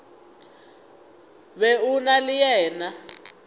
be o na le yena